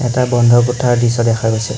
এটা বন্ধ কোঠাৰ দৃশ্য দেখা গৈছে।